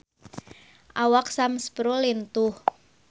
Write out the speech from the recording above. Awak Sam Spruell lintuh